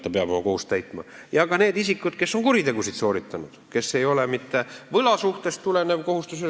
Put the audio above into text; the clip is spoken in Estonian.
Oma kohustuse on jätnud täitmata ka need isikud, kes on kuritegusid sooritanud, kelle võlg ei ole mitte võlasuhtest tulenev.